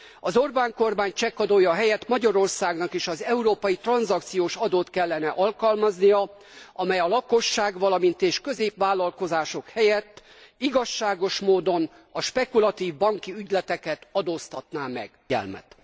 Az Orbán kormány csekkadója helyett Magyarországnak is az európai tranzakciós adót kellene alkalmaznia, amely a lakosság, valamint a középvállalkozások helyett igazságos módon a spekulatív banki ügyleteket adóztatná meg.